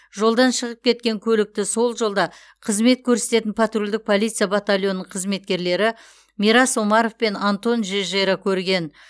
жолдан шығып кеткен көлікті сол жолда қызмет көрсететін патрульдік полиция батальонының қызметкерлері мирас омаров пен антон жежера көрген